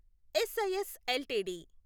SIS LTD